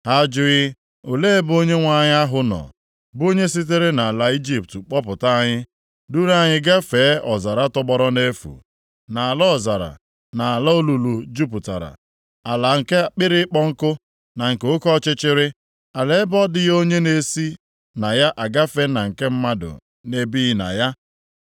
Ha ajụghị ‘Olee ebe Onyenwe anyị ahụ nọ, bụ onye sitere nʼala Ijipt kpọpụta anyị, duuru anyị gafee ọzara tọgbọrọ nʼefu, nʼala ọzara na ala olulu jupụtara, ala nke akpịrị ịkpọ nkụ na nke oke ọchịchịrị, ala ebe ọ dịghị onye na-esi na ya agafee na nke mmadụ na-ebighị na ya?’